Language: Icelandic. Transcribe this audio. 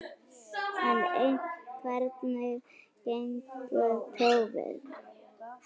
En hvernig gengu prófin?